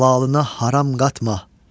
Halalına haram qatma.